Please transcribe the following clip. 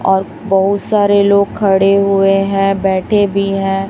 और बहुत सारे लोग खड़े हुए हैं बैठे भी हैं।